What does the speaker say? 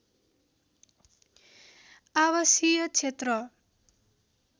आवासीय क्षेत्र